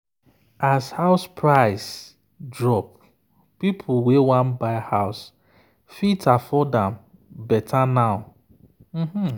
as house price drop people wey wan buy house fit afford am better now.